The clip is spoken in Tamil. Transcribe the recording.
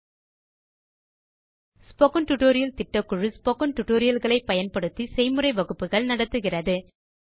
ஸ்போக்கன் டியூட்டோரியல் திட்டக்குழு spoken டியூட்டோரியல் களை பயன்படுத்தி செய்முறை வகுப்புகள் நடத்துகிறது